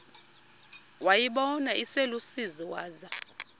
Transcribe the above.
wayibona iselusizini waza